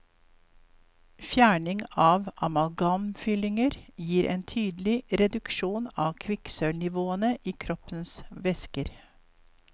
Fjerning av amalgamfyllinger gir en tydelig reduksjon av kvikksølvnivåene i kroppens væsker.